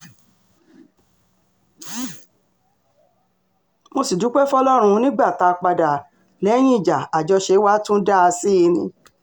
mo sì dúpẹ́ fọlọ́run nígbà tá a padà lẹ́yìn ìjà àjọṣepọ̀ wa tún dáa sí i ni